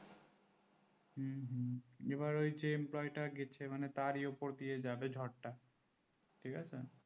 এবার যে employee তা গেছে তার উপর দিয়ে যাবে ঝড়টা ঠিক আছে